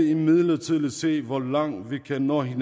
imidlertid se hvor langt vi kan nå i